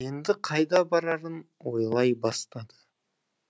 енді қайда барарын ойлай бастады